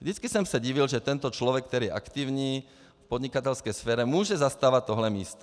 Vždycky jsem se divil, že tento člověk, který je aktivní v podnikatelské sféře, může zastávat tohle místo.